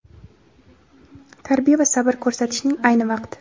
tarbiya va sabr ko‘rsatishning ayni vaqti.